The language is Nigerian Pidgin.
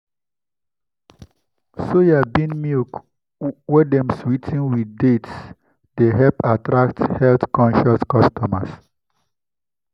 soya bean ?] milk wey dem swee ten with dates dey help attract health-conscious customers.